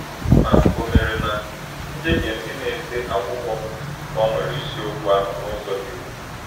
Ma ò mere na njehie ndị na-ede akwụkwọ gbanwere isiokwu ahụ n’ụzọ dị ukwuu?